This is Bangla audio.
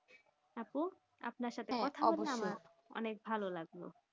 আপু আপনার সঙ্গে কথা বলে অনেক ভালো লাগলো